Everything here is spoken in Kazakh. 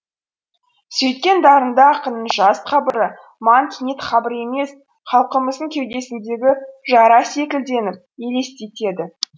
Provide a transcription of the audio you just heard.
сөйткен дарынды ақынның жас қабыры маған кенет қабыр емес халқымыздың кеудесіндегі жара секілденіп елестеді